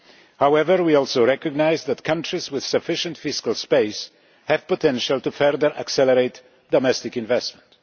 However, we also recognise that countries with sufficient fiscal space have the potential to further accelerate domestic investment.